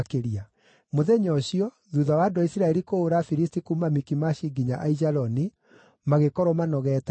Mũthenya ũcio, thuutha wa andũ a Isiraeli kũhũũra Afilisti kuuma Mikimashi nginya Aijaloni, magĩkorwo manogeete mũno.